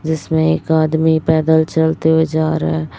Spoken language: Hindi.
जिसमें एक आदमी पैदल चलते हुए जा रहा--